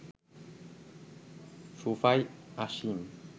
সোফায় আসীন